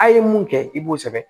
A' ye mun kɛ i b'o sɛbɛn